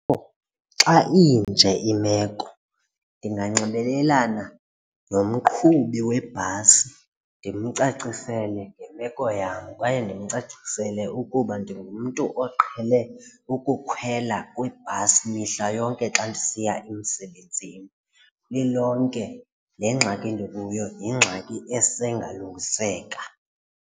Xa inje imeko ndinganxibelelana nomqhubi webhasi ndimcacisele ngemeko yam kwaye ndimcacisele ukuba ndingumntu oqhele ukukhwela kwibhasi mihla yonke xa ndisiya emsebenzini. Lilonke le ngxaki ndikuyo yingxaki esengalungiseka.